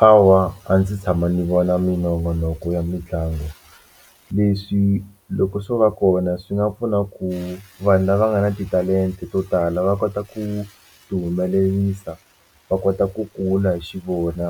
Hawa a ndzi tshama ndzi vona minongonoko ya mitlangu leswi loko swo va kona swi nga pfuna ku vanhu lava nga na titalenta to tala va kota ku ti humelerisa va kota ku kula hi xivona